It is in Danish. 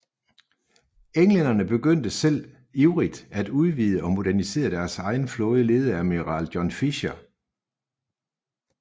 Englænderne begyndte selv ivrigt at udvide og modernisere deres egen flåde ledet af admiral John Fisher